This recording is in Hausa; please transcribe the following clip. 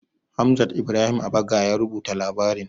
Hamzat Ibrahim Abaga ya rubuta labarin.